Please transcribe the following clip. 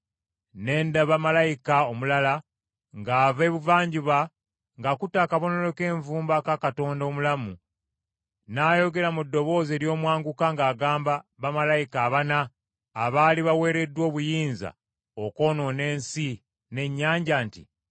Ne ndaba malayika omulala ng’ava ebuvanjuba ng’akutte akabonero k’envumbo aka Katonda omulamu, n’ayogera mu ddoboozi ery’omwanguka ng’agamba bamalayika abana abaali baweereddwa obuyinza okwonoona ensi n’ennyanja nti,